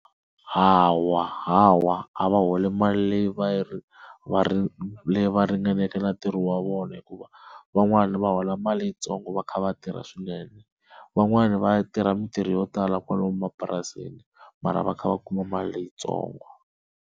Hawa, hawa a va holi mali leyi va yi leyi ringaneke na ntirho wa vona hikuva van'wana va hola mali yitsongo va kha va tirha swinene, van'wani va ya tirha mintirho yo tala kwala mapurasini mara va kha va kuma mali leyitsongo.